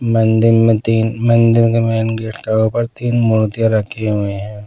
मंदिर में तीन मंदिर के मेन गेट के ऊपर तीन मूर्तियां रखे हुए हैं।